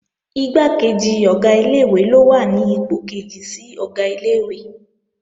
Igbákejì Ọ̀gá ilé-ìwé ló wà ní ipò kejì sí Ọ̀gá ilé-ìwé